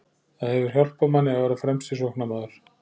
Það hefur hjálpað manni að vera fremsti sóknarmaður.